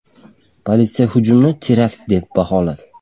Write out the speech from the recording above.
Politsiya hujumni terakt deb baholadi .